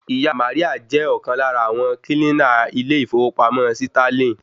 Ìyá Maria je ọ̀kan lára àwọn kílínà ilé ìfowópamọ́ Sítálìn